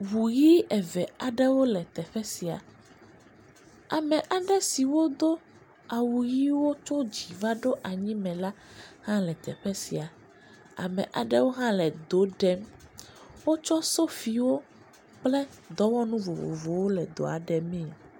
Ŋu ʋi eve aɖewo le teƒe sia. Ame aɖe siwo do awu yii tso dziiva anyime la hã le teƒe sia. Ame aɖewo hã le do ɖem. Wotsɔ sofiwo kple dɔwɔnu vovvowo le do ɖemee.